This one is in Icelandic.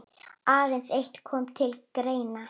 Aðeins eitt kom til greina.